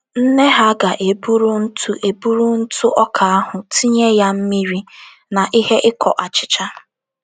Nne ha ga - eburu ntụ eburu ntụ ọka ahụ, tinye ya mmiri na ihe iko achịcha.